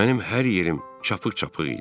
Mənim hər yerim çapıq-çapıq idi.